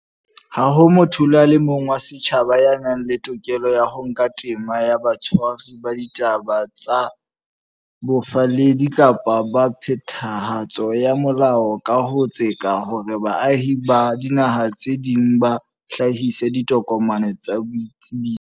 Ha ho motho le a mong wa setjhaba ya nang le tokelo ya ho nka tema ya batshwari ba ditaba tsa bofalledi kapa ba phethahatso ya molao ka ho tseka hore baahi ba dinaha tse ding ba hlahise ditokomane tsa boitsebiso.